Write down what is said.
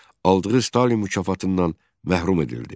Aldığı Stalin mükafatından məhrum edildi.